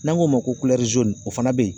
N'an k'o ma ko o fana bɛ yen